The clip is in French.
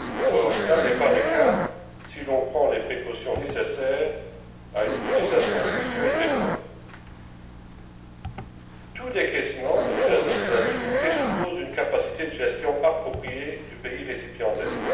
Or, tel n'est pas le cas si l'on prend les précautions nécessaires à une utilisation judicieuse des fonds. Tout décaissement et j'insiste sur ce point présuppose une capacité de gestion appropriée de la part du pays récipiendaire.